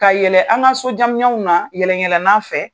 Ka yɛlɛ an ka so jamɲamw la yɛlɛn yɛlɛnnan fɛ